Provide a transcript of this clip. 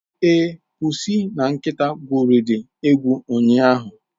Ee, pusi na nkịta egwurili egwu ụnyahụ.